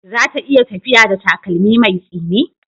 Za ta iya tafiya da takalmi mai tsini?